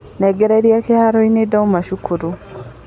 Ndengerire kĩharoinĩ ndauma cukuru.